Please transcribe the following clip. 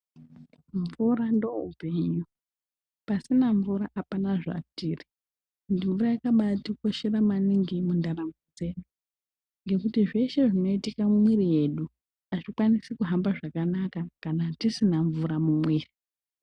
Mvura ndoupenyu. Pasina mvura apana zvatiri. Mvura yakabatikoshera maningi mundaramo dzedu ngekuti zveshe zvinoitika mumwiri yedu azvikwanisi kuhamba zvakanaka kana tisina mvura mumwiri.